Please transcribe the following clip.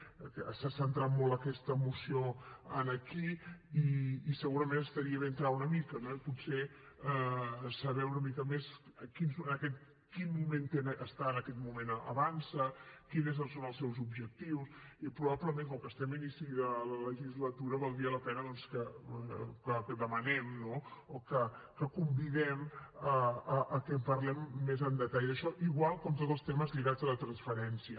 s’ha centrat molt aquesta moció aquí i segurament estaria bé entrar hi una mica no i potser saber una mica més en quin moment està en aquest moment avançsa quins són els seus objectius i probablement com que estem a l’inici de la legislatura valdria la pena doncs que demanem no o que convidem que en parlem més en detall d’això igual com tots els temes lligats a la transferència